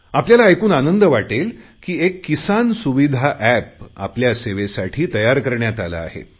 आपल्याला ऐकून आनंद वाटेल की एक किसान सुविधा एप आपल्या सेवेसाठी तयार करण्यात आले आहे